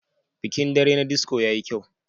Bikin dare na disco yayi kyau.